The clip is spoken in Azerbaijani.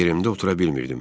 Yerimdə otura bilmirdim.